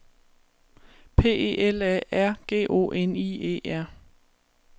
P E L A R G O N I E R